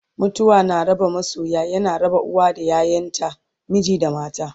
mutuwa na raba masoya, yana raba uwa da ƴaƴanta, miji da mata